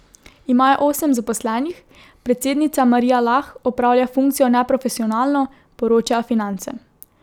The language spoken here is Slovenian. Imajo osem zaposlenih, predsednica Marija Lah opravlja funkcijo neprofesionalno, poročajo Finance.